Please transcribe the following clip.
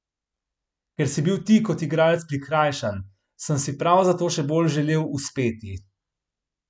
Ker si bil ti kot igralec prikrajšan, sem si prav zato še bolj želel uspeti.